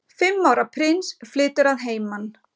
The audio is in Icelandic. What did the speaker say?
Fimm ára prins flytur að heiman